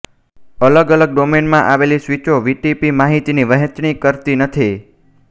અલગ અલગ ડોમેઇનમાં આવેલી સ્વીચો વીટીપી માહિતીની વહેંચણી કરતી નથી